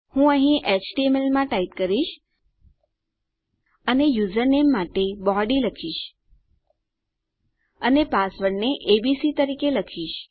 હું અહીં એચટીએમએલ માં ટાઈપ કરીશ અને યુઝરનેમ માટે બોડી લખીશ અને પાસવર્ડને એબીસી તરીકે રાખીશ